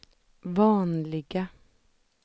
vanliga